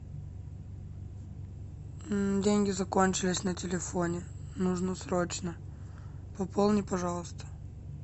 деньги закончились на телефоне нужно срочно пополни пожалуйста